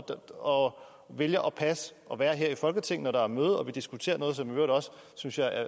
og vælger at være her i folketinget når der er møde og vi diskuterer noget som i øvrigt også synes jeg er